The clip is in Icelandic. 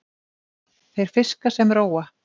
Þeir fiska sem róa.